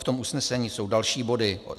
V tom usnesení jsou další body.